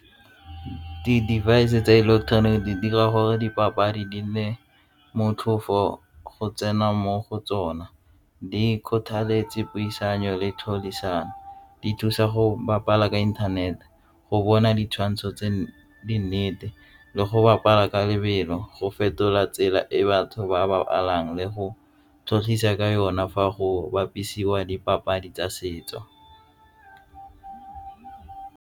Di-device tsa ileketeroniki di dira gore dipapadi di nne motlhofo go tsena mo go tsona di kgothaletsa puisano le di thusa go bapala ka inthanete go bona ditshwantsho tse di nnete le go bapala ka lebelo go fetola tsela e batho ba ba lwalang le go tlhagisa ka yona fa go bapisiwa dipapadi tsa setso.